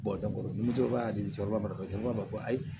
ni jo b'a di cɛkɔrɔba ma jama b'a fɔ ko ayi